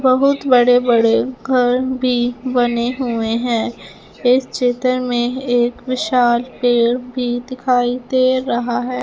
बहुत बड़े बड़े घर भी बने हुए हैं इस चित्र में एक विशाल पेड़ भी दिखाई दे रहा है।